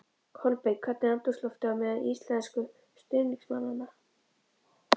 Kolbeinn, hvernig er andrúmsloftið á meðal íslensku stuðningsmannanna?